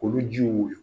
Olu jiw